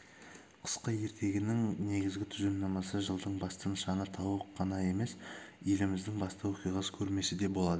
қысқы ертегінің негізгі тұжырымдамасы жылдың басты нышаны тауық қана емес еліміздің басты оқиғасы көрмесі де болады